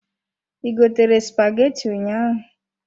I gotere spaghetti ụnyaahụ?